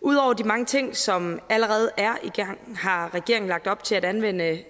ud over de mange ting som allerede er i gang har regeringen lagt op til at anvende